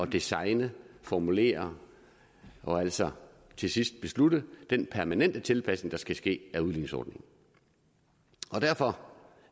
designe formulere og altså til sidst beslutte den permanente tilpasning der skal ske af udligningsordningen og derfor